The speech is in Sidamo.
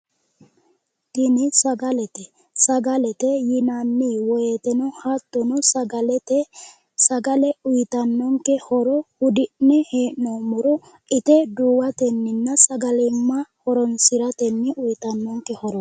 Tini sagaltete, sagalete yinanni wooyiiteno hattono sagalete sagale uuyiitannonke horo huddi'nommore ite duuwatenna sagalimma horonsiratenni uuyitannonke horoot.